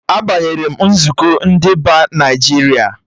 A banyere m nzukọ ndị Ba Naịjiria